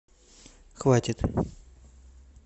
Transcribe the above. хватит